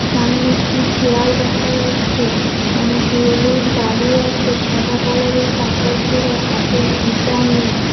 সামনে একটি চেয়ার দেখা যাচ্ছে অনেকগুলো লোক দাঁড়িয়ে আছে সাদা কালার -এর কাপড় পড়ে হাতে গীতা নিয়ে ।